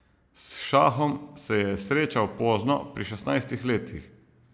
S šahom se je srečal pozno, pri šestnajstih letih.